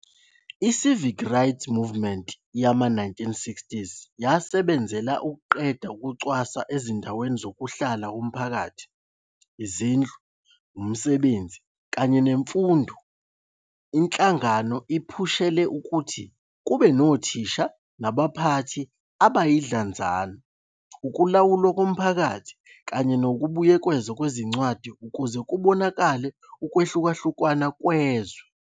I- Civil Rights Movement yama-1960s yasebenzela ukuqeda ukucwasa ezindaweni zokuhlala zomphakathi, izindlu, umsebenzi, kanye nemfundo. Inhlangano iphushele ukuthi kube nothisha nabaphathi abayidlanzana, ukulawulwa komphakathi kanye nokubuyekezwa kwezincwadi ukuze kubonakale ukwehlukahlukana kwezwe.